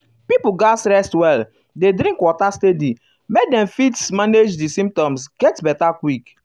pipo gatz rest well dey drink water steady make dem fit dem fit manage di symptoms get beta quick.